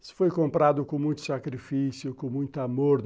Isso foi comprado com muito sacrifício, com muito amor.